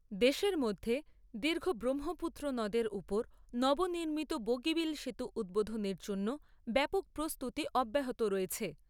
দেশের মধ্যে দীর্ঘ ব্রহ্মপুত্র নদের ওপর নব নির্মিত বগীবিল সেতু উদ্বোধনের জন্য ব্যাপক প্রস্তুতি অব্যাহত রয়েছে।